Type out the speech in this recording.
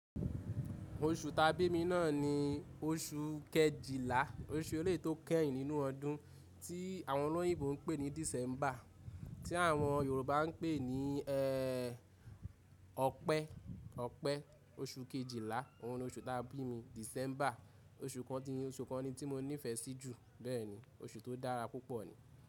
Oṣù ta bí mi náà ni oṣù Kejìlá. Oṣù eleyi tó kẹ́yìn nínú ọdún tí àwọn olóyìnbó ń pè ní December, tí àwọn Yorùbá ń pè ní ẹ Ọpẹ. Ọpẹ, oṣù Kejìlá, òun ni oṣù ta bí mi. December oṣù kan ni oṣù kan ni tí mo nífẹ̀ẹ́ sí jù. Bẹ́ẹ̀ni, oṣù tó dára púpọ̀ ni.